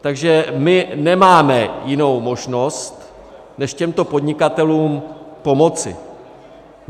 Takže my nemáme jinou možnost než těmto podnikatelům pomoci.